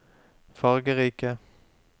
fargerike